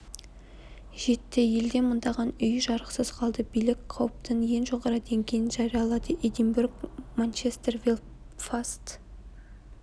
жетті елде мыңдаған үй жарықсыз қалды билік қауіптің ең жоғары деңгейін жариялады эдинбург манчестер белфаст